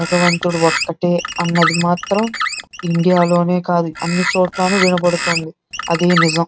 భగవంతుడు ఒక్కటే అది మాత్రం ఇండియా లోనే కాదు అన్ని చోట్లను వినపడుతుంది. అదే నిజం.